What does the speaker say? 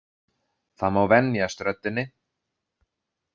Það má venjast röddinni.